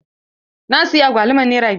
Na siya agwaluman nere biyar.